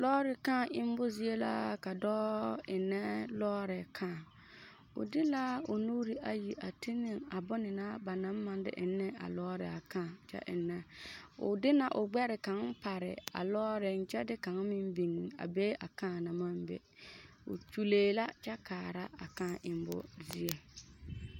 Lɔɔre kãã emmo zie la ka dɔɔ ennɛ lɔɔre kãã, o de la o nuuri ayi a ti ne a bone na ba naŋ maŋ de eŋ ne a lɔɔre a kãã kyɛ ennɛ, o de na o gbɛre kaŋ pare a lɔɔreŋ kyɛ de kaŋ meŋ biŋ be a kãã naŋ maŋ be, o kyulee la kyɛ kaara a kãã emmo zie.